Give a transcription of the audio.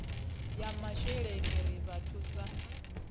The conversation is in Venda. ya masheleni ri vha thusa